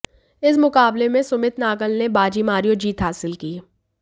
इस मुकाबले में सुमित नागल ने बाजी मारी और जीत हासिल की